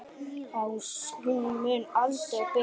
Hún mun aldrei bera sig.